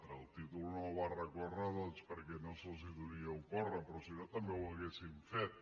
contra el títol no hi va recórrer perquè no se’ls deuria ocórrer però si no també ho haurien fet